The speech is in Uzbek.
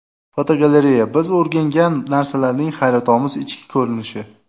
Fotogalereya: Biz o‘rgangan narsalarning hayratomuz ichki ko‘rinishi.